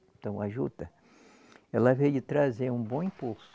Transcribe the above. Então a Juta, ela veio trazer um bom impulso.